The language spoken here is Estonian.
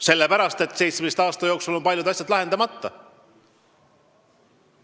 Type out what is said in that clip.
Sellepärast, et 17 aasta jooksul on paljud asjad lahendamata jäänud.